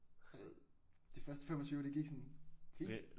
Du ved de første 25 de gik sådan fedt